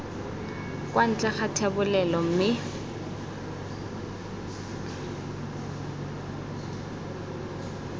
kwa ntle ga thebolelo mme